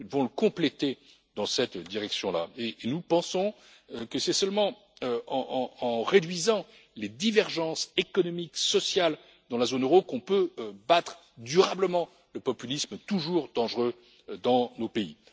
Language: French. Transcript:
pas. Nous devons le compléter dans cette direction et nous pensons que c'est seulement en réduisant les divergences économiques et sociales dans la zone euro qu'on peut battre durablement le populisme, toujours dangereux dans nos pays.